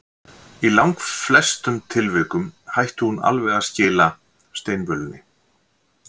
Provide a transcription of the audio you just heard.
Í langflestum tilvikum hætti hún alveg að skila steinvölunni.